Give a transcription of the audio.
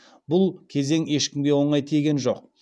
бұл кезең ешкімге оңай тиген жоқ